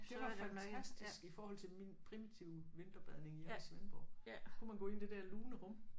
Det var fantastisk i forhold til min primitive vinterbadning hjemme i Svendborg kunne man gå ind i det der lune rum